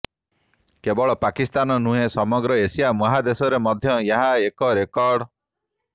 କେବଳ ପାକିସ୍ତାନ ନୁହେଁ ସମଗ୍ର ଏସିଆ ମହାଦେଶରେ ମଧ୍ୟ ଏହା ଏକ ରେକର୍ଡ